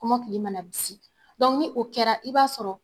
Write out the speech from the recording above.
Kɔmɔkili mana bisi ni o kɛra i b'a sɔrɔ,